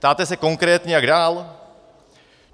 Ptáte se konkrétně, jak dál?